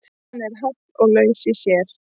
Hann er háll og laus í sér.